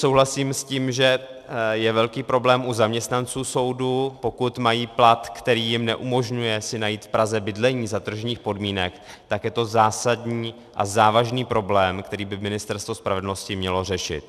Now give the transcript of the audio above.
Souhlasím s tím, že je velký problém u zaměstnanců soudu, pokud mají plat, který jim neumožňuje si najít v Praze bydlení za tržních podmínek, tak je to zásadní a závažný problém, který by ministerstvo spravedlnosti mělo řešit.